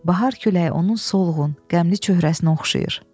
Bahar küləyi onun solğun, qəmli çöhrəsinə oxşayır.